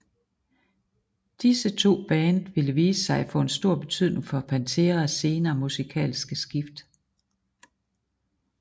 Disse to band ville vise sig at få en stor betydning for Panteras senere musikalske skift